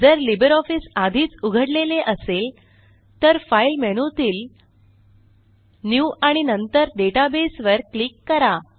जर लिब्रिऑफिस आधीच उघडलेले असेल तर फाइल मेनूतील न्यू आणि नंतर डेटाबेस वर क्लिक करा